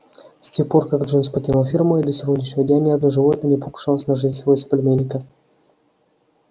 с тех пор как джонс покинул ферму и до сегодняшнего дня ни одно животное не покушалось на жизнь своего соплеменника